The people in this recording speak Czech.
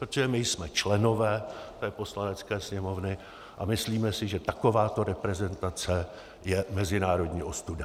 Protože my jsme členové té Poslanecké sněmovny a myslíme si, že takováto reprezentace je mezinárodní ostuda.